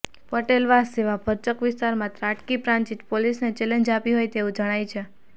પટેલવાસ જેવાં ભરચક વિસ્તારમાં ત્રાટકી પ્રાંતિજ પોલીસને ચેલેન્જ આપી હોય તેવું જણાય છે